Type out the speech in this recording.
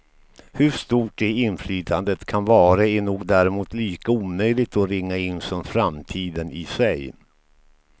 Hur stort det inflytandet kan vara är nog däremot lika omöjligt att ringa in som framtiden i sig.